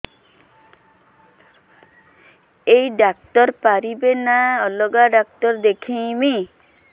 ଏଇ ଡ଼ାକ୍ତର ପାରିବେ ନା ଅଲଗା ଡ଼ାକ୍ତର ଦେଖେଇବି